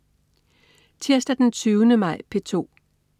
Tirsdag den 20. maj - P2: